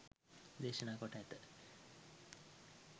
දේශනා කොට ඇත.